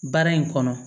Baara in kɔnɔ